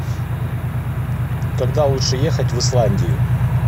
когда лучше ехать в исландию